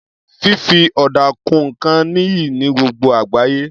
Fífi ọ̀dà kun nǹkan níyì ní gbogbo àgbáyé.